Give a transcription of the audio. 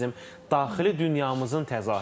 Musiqi bizim daxili dünyamızın təzahürüdür.